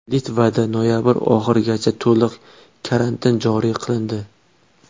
Litvada noyabr oxirigacha to‘liq karantin joriy qilindi.